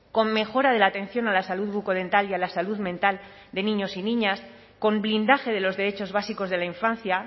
con mejora de la atención a la salud bucodental y a la salud mental de niños y niñas con blindaje de los derechos básicos de la infancia